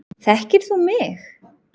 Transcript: Þekkir þú mig?